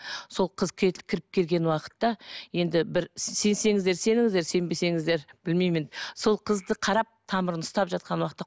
сол қыз кіріп келген уақытта енді бір сенсеңіздер сеніңіздер сенбесеңіздер білмеймін енді сол қызды қарап тамырын ұстап жатқан уақытта